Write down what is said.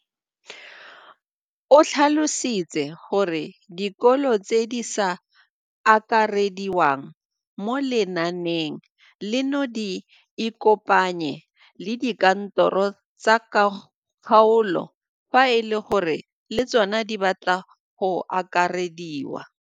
O tlhalositse gore dikolo tse di sa akarediwang mo lenaaneng leno di ikopanye le dikantoro tsa kgaolo fa e le gore le tsona di batla go akarediwa.